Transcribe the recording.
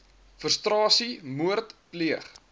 frustrasie moord pleeg